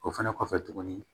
O fɛnɛ kɔfɛ tuguni